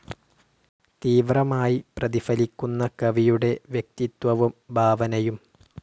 തീവ്രമായി പ്രതിഫലിക്കുന്ന കവിയുടെ വ്യക്തിത്വവും ഭാവനയും.